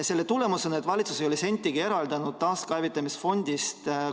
Selle tulemus on, et valitsus ei ole taaskäivitamisfondist sentigi eraldanud.